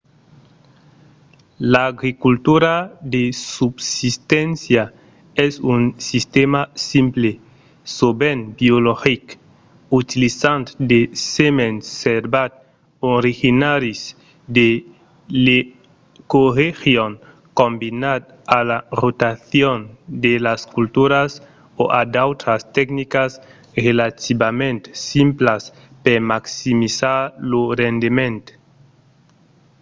l'agricultura de subsisténcia es un sistèma simple sovent biologic utilizant de semens servats originaris de l'ecoregion combinat a la rotacion de las culturas o a d'autras tecnicas relativament simplas per maximizar lo rendement